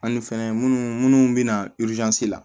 Ani fɛnɛ munnu munnu bɛ na la